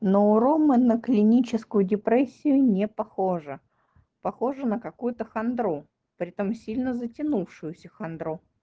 но у ромы на клиническую депрессию не похожа похоже на какую-то хандру притом сильно затянувшуюся хандру